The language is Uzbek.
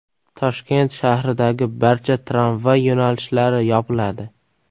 Toshkent shahridagi barcha tramvay yo‘nalishlari yopiladi .